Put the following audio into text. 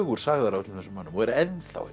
sagðar af öllum þessum mönnum og eru enn